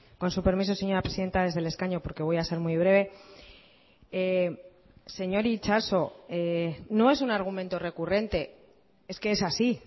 con su permiso señora presidenta desde el escaño porque voy a ser muy breve señor itxaso no es un argumento recurrente es que es así